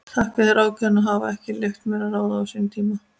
Þakki sér ákveðnina að hafa ekki leyft mér að ráða á sínum tíma.